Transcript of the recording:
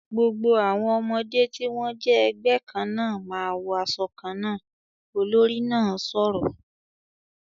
"Gbogbo àwọn ọmọdé tí wọ́n jẹ́ ẹgbẹ́ kan náà ma wọ asọ kan náà!", olórí náà sọ̀rọ̀